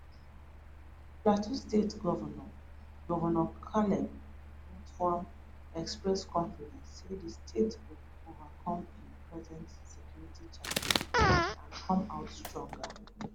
plateau state govnor govnor caleb mutfwang express confidence say di state go overcome im present security challenge and come out stronger